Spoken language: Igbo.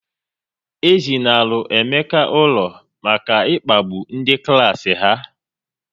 E zinalu Emeka ụlọ maka ịkpagbu ndị klas ha